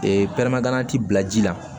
pɛrɛnna ti bila ji la